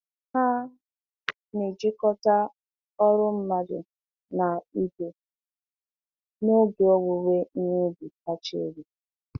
Ha na-ejikọta ọrụ mmadụ na igwe n'oge owuwe ihe ubi kacha elu.